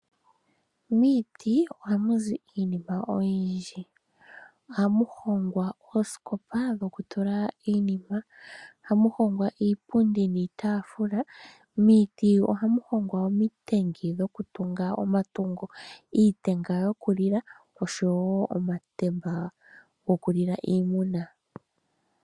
Miiti ohamu zi iinima oyindji, oha mu hongwa oosikopa dhokutulwa iinima, ohamu hongwa iipundi niitafula, miiti ohamu longwa omitenge dhokutunga omatungo, iitenga yokulila nosho woo omatemba gokulila iimuna.